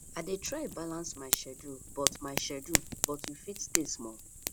i dey try balance my schedule but my schedule but you fit stay small